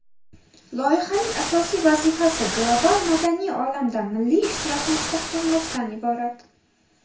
Loyihaning asosiy vazifasi global madaniy olamda milliy ishtirokni mustahkamlashdan iborat.